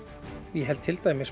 ég held til dæmis